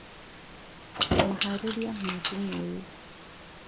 Maharĩria ma thumu ũyũ